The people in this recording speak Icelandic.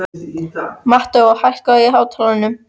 Mateó, hækkaðu í hátalaranum.